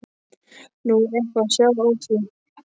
Nú, er eitthvað að sjá á því?